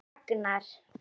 Hlíf og Agnar.